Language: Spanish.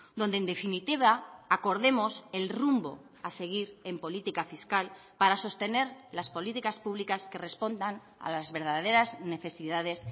donde en definitiva acordemos el rumbo a seguir en política fiscal para sostener las políticas públicas que respondan a las verdaderas necesidades